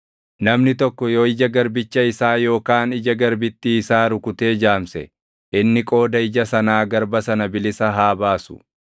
“Namni tokko yoo ija garbicha isaa yookaan ija garbittii isaa rukutee jaamse, inni qooda ija sanaa garba sana bilisa haa baasu.